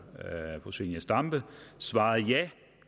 fru zenia stampe svarede ja